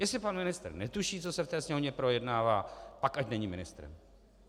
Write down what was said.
Jestli pan ministr netuší, co se v té Sněmovně projednává, pak ať není ministrem.